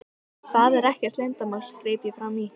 Það er ekkert leyndarmál, greip ég fram í.